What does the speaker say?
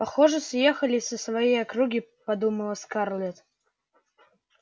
похоже съехались со своей округи подумала скарлетт